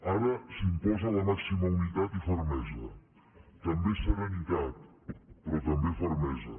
ara s’imposa la màxima unitat i fermesa també serenitat però també fermesa